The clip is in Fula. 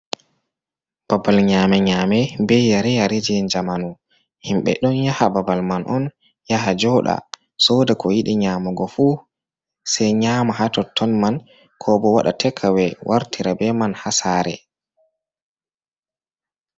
Babal nyame-nyame be yare-yare je jamanu. Himbe ɗo yaha babal man on yaha jooɗa. Soɗa ko yiɗi nyamago fu sai nyama ha totton man ko bo waɗa tekawe wartirabe man ha sare.